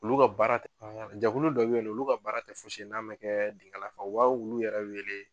Olu ka baara jakulu dɔ be ye nɔ olu ka baara te fosi n'ama kɛɛ benkala maw wa olu yɛrɛ wele